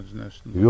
Bilmədiniz nə iş?